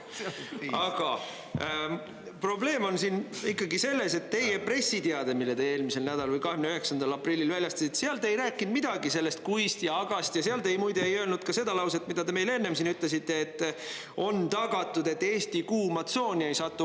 Aga probleem on ikkagi selles, et teie pressiteade, mille te eelmisel nädalal või 29. aprillil väljastasite, seal te ei rääkinud midagi sellest kuist ja agast ja seal te muide ei öelnud ka seda lauset, mida te meile enne siin ütlesite, et on tagatud, et Eesti kuuma tsooni ei satu.